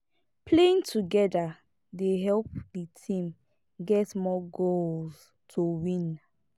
playing together dey help di team get more goals to win